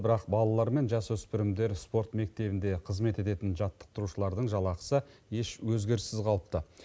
бірақ балалар мен жасөспірімдер спорт мектебінде қызмет ететін жаттықтырушылардың жалақысы еш өзгеріссіз қалыпты